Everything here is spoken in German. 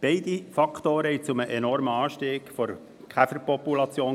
Beide Faktoren führten zu einem enormen Anstieg der Käferpopulation.